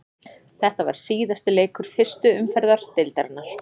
Þetta var síðasti leikur fyrstu umferðar deildarinnar.